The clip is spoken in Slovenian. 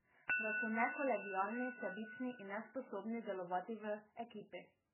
Da so nekolegialni, sebični in nesposobni delovati v ekipi.